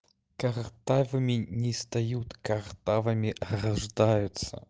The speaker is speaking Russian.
картавыми не стают картавыми рождаются